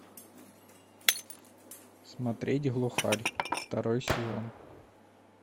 смотреть глухарь второй сезон